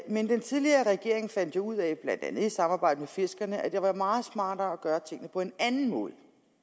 men den tidligere regering fandt jo ud af blandt andet i samarbejde med fiskerne at det var meget smartere at gøre tingene på en anden måde